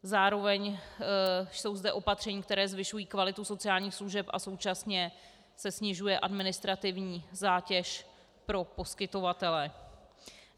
Zároveň jsou zde opatření, která zvyšují kvalitu sociálních služeb, a současně se snižuje administrativní zátěž pro poskytovatele.